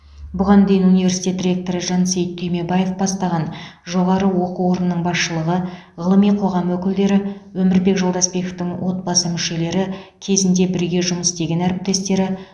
бұған дейін университет ректоры жансейіт түймебаев бастаған жоғары оқу орнының басшылығы ғылыми қоғам өкілдері өмірбек жолдасбековтің отбасы мүшелері кезінде бірге жұмыс істеген әріптестері